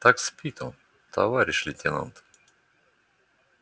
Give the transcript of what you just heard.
так спит он товарищ лейтенант